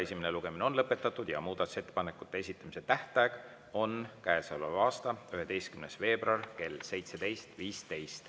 Esimene lugemine on lõpetatud ja muudatusettepanekute esitamise tähtaeg on käesoleva aasta 11. veebruar kell 17.15.